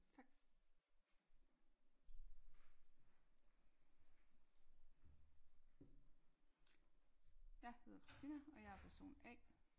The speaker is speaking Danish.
Tak jeg hedder Christina og jeg er person A